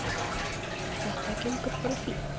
Þetta gengur bara fínt.